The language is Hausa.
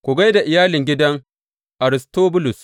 Ku gai da iyalin gidan Aristobulus.